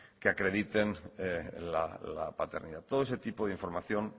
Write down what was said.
que acrediten la paternidad todo ese tipo de información